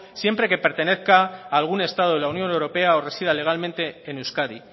siempre que pertenezca a algún estado de la unión europea o resida legalmente en euskadi